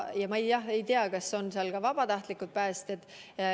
Ma ei tea, kas nende hulgas on ka vabatahtlikud päästjad.